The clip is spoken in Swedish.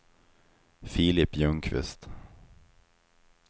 Filip Ljungqvist